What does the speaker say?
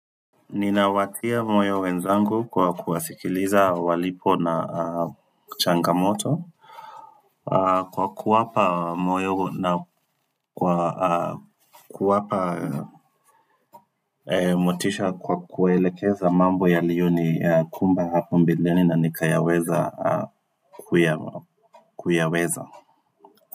Ninawatia moyo wenzangu kwa kuwasikiliza walipo na changamoto, Kwa kuwapa moyo na kuwapa motisha kwa kuelekeza mambo yaliyo ni kumba hapo mbeleni na nikayaweza kuya kuyaweza.